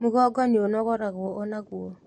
Mũgongo nĩũnogoragwo o naguo